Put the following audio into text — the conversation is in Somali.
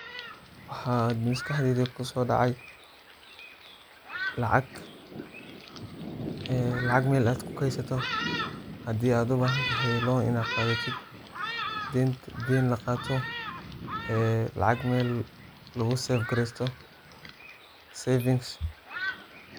Waxa hada maskaxdeyda kusodaci lacag ,ee lacag mel ad kukeydsato hadi ad ubahantahay loan inad qadhatit deyn laqato e lacag mel lugusefgareysto savings.